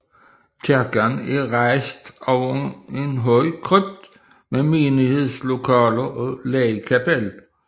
Kirken er rejst over en høj krypt med menighedslokaler og ligkapel